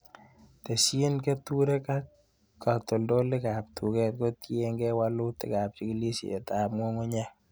Tesyin keturek ak katoltolikab tuket kotienegi wolutikab chikilisietab ng'ung'unyek.